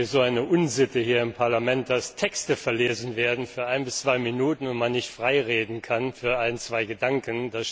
Es ist sowieso eine Unsitte hier im Parlament, dass Texte verlesen werden für ein bis zwei Minuten und man nicht frei reden kann für ein, zwei Gedanken.